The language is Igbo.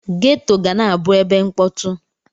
Geto ga na-abụ ebe mkpọtụ.